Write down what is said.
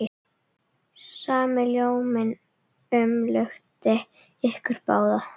Sami ljóminn umlukti ykkur báðar.